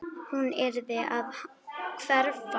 Hún yrði að hverfa.